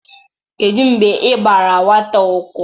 kedu mgbe i gbara nwata ụkwụ?